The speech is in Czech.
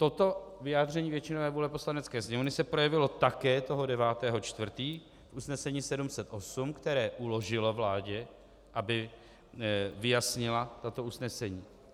Toto vyjádření většinové vůle Poslanecké sněmovny se projevilo také toho 9. 4. v usnesení 708, které uložilo vládě, aby vyjasnila toto usnesení.